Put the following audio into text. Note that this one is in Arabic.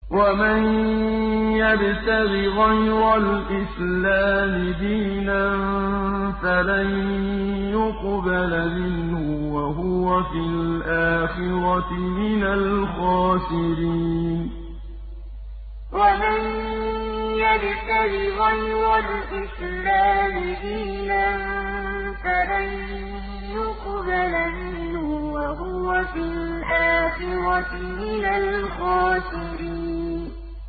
وَمَن يَبْتَغِ غَيْرَ الْإِسْلَامِ دِينًا فَلَن يُقْبَلَ مِنْهُ وَهُوَ فِي الْآخِرَةِ مِنَ الْخَاسِرِينَ وَمَن يَبْتَغِ غَيْرَ الْإِسْلَامِ دِينًا فَلَن يُقْبَلَ مِنْهُ وَهُوَ فِي الْآخِرَةِ مِنَ الْخَاسِرِينَ